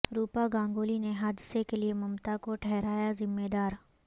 روپا گانگولی نے حادثے کے لیے ممتا کو ٹہرایا ذمہ دار